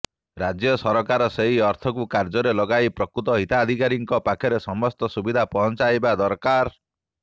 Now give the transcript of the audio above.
ରାଜ୍ୟ ସରକାର ସେହି ଅର୍ଥକୁ କାର୍ଯ୍ୟରେ ଲଗାଇ ପ୍ରକୃତ ହିତାଧିକାରୀଙ୍କ ପାଖରେ ସମସ୍ତ ସୁବିଧା ପହଂଚାଇବା ଦରକାର